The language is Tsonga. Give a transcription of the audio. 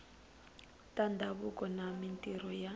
ta ndhavuko na mintirho ya